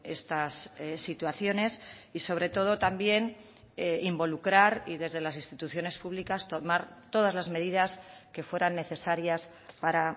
estas situaciones y sobre todo también involucrar y desde las instituciones públicas tomar todas las medidas que fueran necesarias para